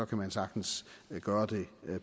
kan man sagtens gøre det